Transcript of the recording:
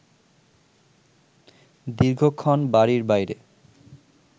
দীর্ঘক্ষণ বাড়ির বাইরে